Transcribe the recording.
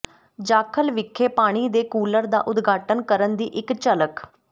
ਜਾਖਲ ਵਿਖੇ ਪਾਣੀ ਦੇ ਕੂਲਰ ਦਾ ਉਦਘਾਟਨ ਕਰਨ ਦੀ ਇਕ ਝਲਕ